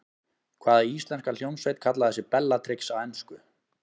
Hvaða íslenska hljómsveit kallaði sig Bellatrix á ensku?